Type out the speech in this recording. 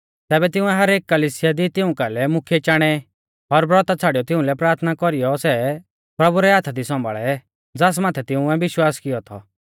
तैबै तिंउऐ हरेक कलिसिया दी तिऊं कालै मुख्यै चाणै और ब्रौता छ़ाड़ियौ तिउंलै प्राथना कौरीयौ सै प्रभु रै हाथा दी सौंभाल़ै ज़ास माथै तिंउऐ विश्वास कियौ थौ